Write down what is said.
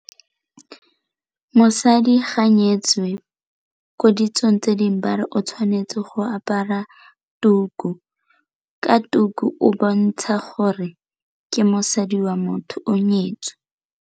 Mosadi ga a nyetswe ko ditsong tse dingwe bare o tshwanetse go apara tuku, ka tuku o bontsha gore ke mosadi wa motho o nyetswe.